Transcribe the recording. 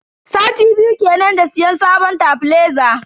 Sati biyu kenan da siyan sabon tebileza.